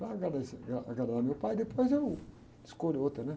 Para agradar, eh, ah, agradar a meu pai, depois eu escolho outra, né?